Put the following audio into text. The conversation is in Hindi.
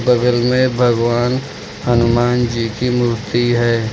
बगल में भगवान हनुमान जी की मूर्ति है।